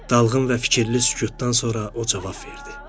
Dalğın və fikirli sükutdan sonra o cavab verdi.